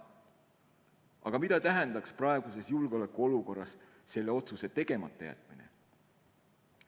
Aga mida tähendaks praeguses julgeolekuolukorras selle otsuse tegemata jätmine?